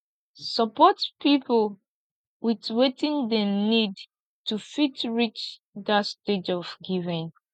support pipo with wetin dem need to fit reach that stage of giving